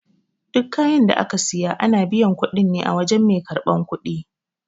Duk kayan da aka siya, ana biyan kuɗin ne a wajan mai karɓan kuɗi.